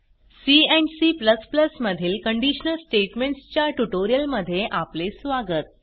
C and C मधील conditional statements च्या ट्युटोरियलमध्ये आपले स्वागत